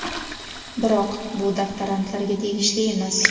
Biroq bu doktorantlarga tegishli emas.